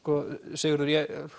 Sigurður